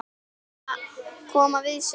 Koma við sig hvar?